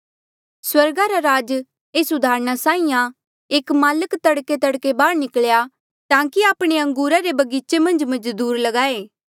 स्वर्गा रा राज एस उदाहरणा साहीं आं एक माल्क तड़केतड़के बाहर निकल्या ताकि आपणी अंगूरा रे बगीचे मन्झ मजदूर लगाए